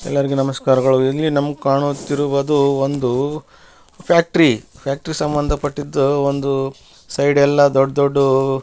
ಎಲ್ಲರಿಗೆ ನಮಸ್ಕಾರಗಳು ಇಲ್ಲಿ ನಮ್ಗ್ ಕಾಣುತ್ತಿರವುದು ಒಂದು ಫ್ಯಾಕ್ಟ್ರಿ ಫ್ಯಾಕ್ಟ್ರಿ ಗ್ ಸಂಬಂದಪಟ್ಟಿದ್ದು ಒಂದು ಸೈಡ್ ಎಲ್ಲ ದೊಡ್ಡ್ ದೊಡ್ಡದು --